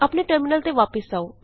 ਆਪਣੇ ਟਰਮਿਨਲ ਤੇ ਵਾਪਸ ਆਉ